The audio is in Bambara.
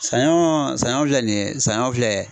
Sanɲɔ sanɲɔ filɛ nin ye sanɲɔ filɛ.